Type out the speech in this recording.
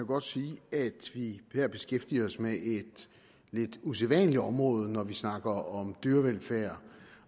godt sige at vi her beskæftiger os med et lidt usædvanligt område når vi snakker om dyrevelfærd